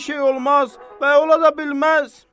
Elə şey olmaz və ola da bilməz.